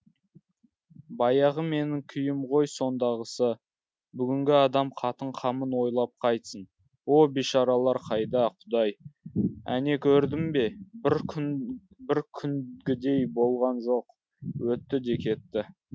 баяғы менің күйім ғой сондағысы бүгінгі адам қатын қамын ойлап қайтсін о бишаралар қайда құдай әне көрдің бе бір күнгідей болған жоқ өтті де кетті